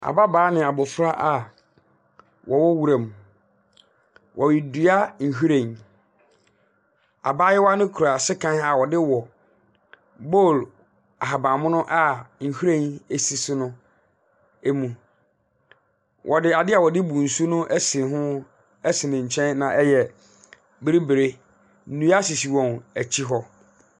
Ababaa ne abofra a ɔwɔ nwura mu. Wɔredua nhwiren. Abaayewa no kura sekan a ɔde wɔ. Bowl ahaban mono a nhwiren esi so no emu. Ɔde adeɛ a wɔde bu nsu no ɛsi ho ɛsi ne nkyɛn na ɛyɛ biribire. Nnua sisi wɔn akyi hɔ.